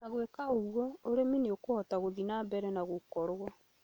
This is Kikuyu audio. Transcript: Na gũĩka ũguo, ũrĩmi nĩ ũkũhota gũthie na mbere gũkorũo